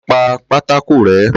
Ló pa pátákó ré